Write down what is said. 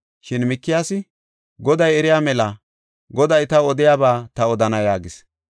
Shin Mikiyaasi, “Goday eriya mela, Goday taw odiyaba ta odana” yaagis.